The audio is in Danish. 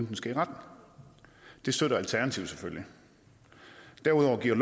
den skal i retten det støtter alternativet selvfølgelig derudover giver